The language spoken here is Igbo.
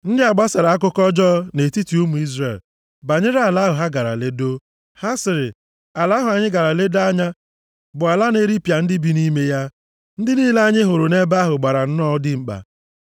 Ndị a gbasara akụkọ ọjọọ nʼetiti ụmụ Izrel banyere ala ahụ ha gara ledoo. Ha sịrị, “Ala ahụ anyị gara ledoo anya bụ ala na-eripịa ndị bi nʼime ya. Ndị niile anyị hụrụ nʼebe ahụ gbara nnọọ dimkpa